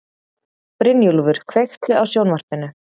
Brynjúlfur, kveiktu á sjónvarpinu.